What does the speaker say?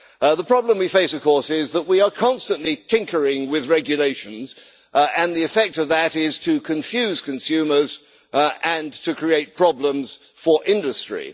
The problem we face is that we are constantly tinkering with regulations, and the effect of that is to confuse consumers and to create problems for industry.